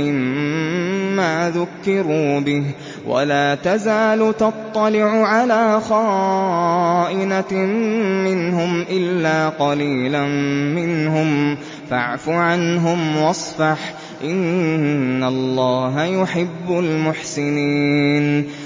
مِّمَّا ذُكِّرُوا بِهِ ۚ وَلَا تَزَالُ تَطَّلِعُ عَلَىٰ خَائِنَةٍ مِّنْهُمْ إِلَّا قَلِيلًا مِّنْهُمْ ۖ فَاعْفُ عَنْهُمْ وَاصْفَحْ ۚ إِنَّ اللَّهَ يُحِبُّ الْمُحْسِنِينَ